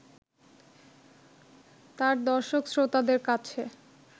তাঁর দর্শক-শ্রোতাদের কাছে